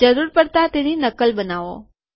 જરૂર પડતા તેની નકલ બનાવો